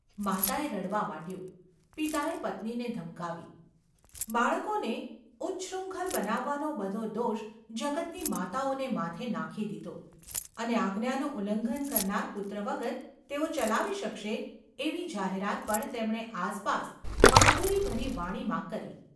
માતાએ રડવા માંડ્યું. પિતાએ પત્નીને ધમકાવી, બાળકોને ઉચ્છૃંખલ બનાવવાનો બધો દોષ જગતની માતાઓને માથે નાખી દીધો અને આજ્ઞાનું ઉલ્લંઘન કરનાર પુત્ર વગર તેઓ ચલાવી શકશે એવી જાહેરાત પણ તેમણે આસપાસ બહાદુરી ભરી વાણીમાં કરી.